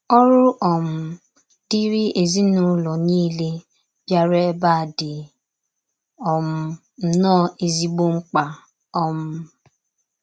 Ọrụ um dịịrị ezinụlọ niile bịara ebea dị um nnọọ ezigbo mkpa. um